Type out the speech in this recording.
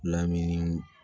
Lamini